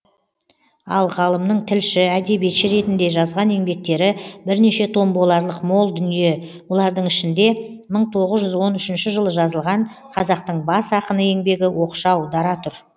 ал ғалымның тілші әдебиетші ретінде жазған еңбектері бірнеше том боларлық мол дүние бұлардың ішінде мың тоғыз жүз он үшінші жылы жазылған қазақтың бас ақыны еңбегі оқшау дара тұр